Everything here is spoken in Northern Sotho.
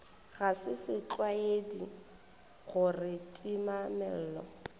ga se setlwaedi gore timamello